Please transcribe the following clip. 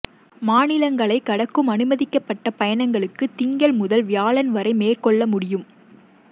மாநிலங்களை கடக்கும் அனுமதிக்கப்பட்ட பயணங்களுக்கு திங்கள் முதல் வியாழன்வரை மேற்கொள்ள முடியும்